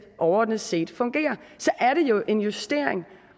overordnet set fungerer er det jo en justering